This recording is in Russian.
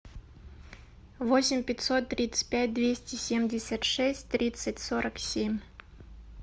восемь пятьсот тридцать пять двести семьдесят шесть тридцать сорок семь